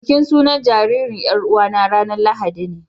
Bikin sunan jariri yar'uwa na ranan lahadine